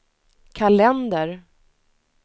kalender